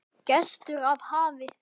Gestur af hafi